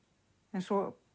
eins og